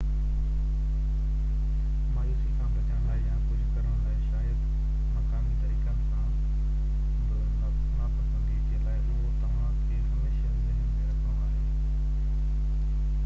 مايوسي کان بچڻ لاءِ يا ڪجهہ ڪرڻ لاءِ شايد مقامي طريقن سان بہ نا پسندي جي لاءِ اهو توهان کي هميشہ ذهن ۾ رکڻو آهي